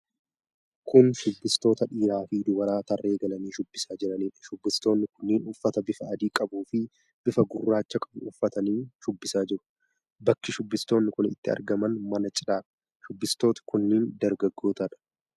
Kun shubbistoota dhiiraa fi dubaraa tarree galanii shubbisaa jiranidha. Shubbistooni kunneen uffata bifa adii qabuu fi bifa gurraacha qabu uffatanii shubbisaa jiru. Bakki shubbistoonni kun itt argaman mana cinaadha. shubbistooti kun dargaggootadha.